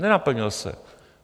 Nenaplnil se.